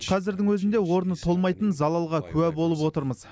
қазірдің өзінде орны толмайтын залалға куә болып отырмыз